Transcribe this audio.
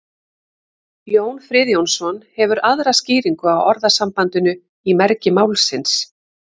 jón friðjónsson hefur aðra skýringu á orðasambandinu í mergi málsins